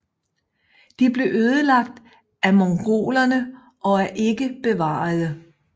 De blev ødelagt af mongolerne og er ikke bevarede